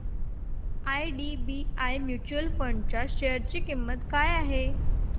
IDBI mutual fund च्या share ची किंमत काय आहे